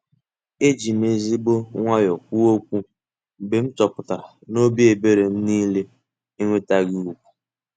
Ejim ezigbo nwayọ kwuo okwu mgbe m chọpụtara n'obi ebere m niile enwetaghị ugwu.